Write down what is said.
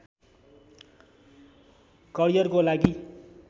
करियरको लागि